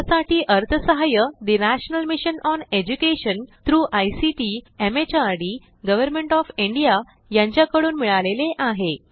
यासाठी अर्थसहाय्य National Mission on Education through ICT MHRD Government of India यांच्याकडून मिळालेले आहे